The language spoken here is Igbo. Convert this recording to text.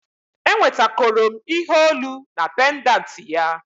Enwetakoro m ihe olu na pendanti ya